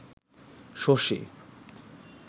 Shashi